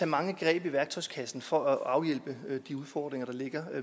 mange greb i værktøjskassen for at afhjælpe de udfordringer der ligger